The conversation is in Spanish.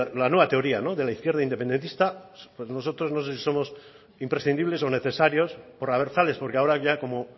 la nueva teoría no de la izquierda independentista pues nosotros no sé si somos imprescindibles o necesarios por abertzales porque ahora ya como